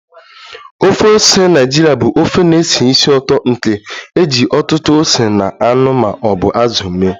Ofe ose Naịjirịa bụ ofe na-esi ísì ụtọ nke e ji ọtụtụ ose na anụ ma ọ bụ azụ mee